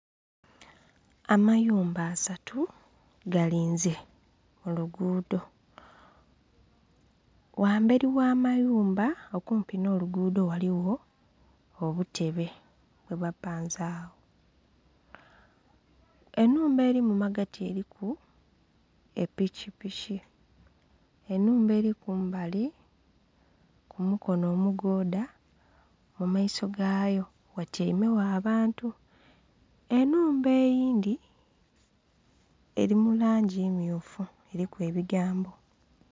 Amayumba asatu galize kulugudo, ghamberi ogha mayumba okumpi nho lugudho ghaligho obutebe bwebapanze agho enhumba eri mumagati eriku epiki piki enhumba eri kumbali kumukono omugodha mumaiso gayo ghatyeime gho abantu, enhumba eidhi eri mulangi mmyufu eriku ebigambo